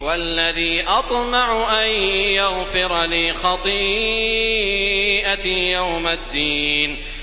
وَالَّذِي أَطْمَعُ أَن يَغْفِرَ لِي خَطِيئَتِي يَوْمَ الدِّينِ